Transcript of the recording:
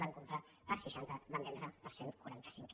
van comprar per seixanta van vendre per cent i quaranta cinc